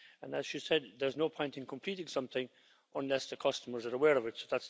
And as she said, there's no point in completing something unless the customers are aware of it.